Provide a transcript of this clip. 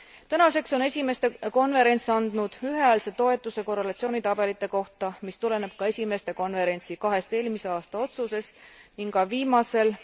Tänaseks on esimeeste konverents andnud ühehäälse toetuse korrelatsioonitabelite kohta, mis tuleneb ka esimeeste konverentsi kahest eelmise aasta otsusest ning ka viimasel,